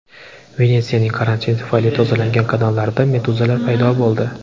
Venetsiyaning karantin tufayli tozalangan kanallarida meduzalar paydo bo‘ldi .